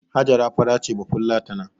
Hajara fara ce bafulatana